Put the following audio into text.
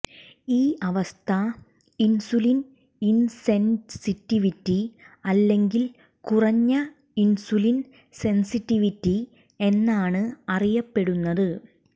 ഈ അവസ്ഥ insulin insensitivity അല്ലെങ്കിൽ കുറഞ്ഞ ഇൻസുലിൻ സെൻസിറ്റിവിറ്റി എന്നാണ് അറിയപ്പെടുന്നത്